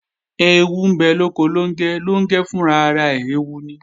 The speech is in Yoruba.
Ẹẹwu ń bẹ lóko Lóngẹ́, Lóngẹ́ fún ara rẹ̀ ẹẹwu ni